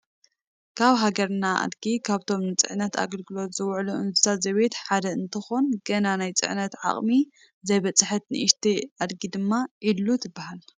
ኣብ ሃገርና ኣድጊ ካብቶም ንፅዕነት ኣገልግሎት ዝውዕሉ እንስሳት ዘቤት ሓደ እንትኾን ገና ናብ ፅዕነት ዓቕሚ ዘይበፅሐት ንኡሽተይ ኣድጊ ድማ ዒሉ ትበሃል፡፡